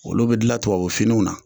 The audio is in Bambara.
Olu be dilan tubabu finiw na